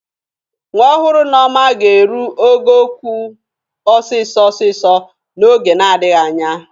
Nwa ọhụrụ Nneọma ga-eru ogo okwu ọsịsọ ọsịsọ n'oge na-adịghị anya.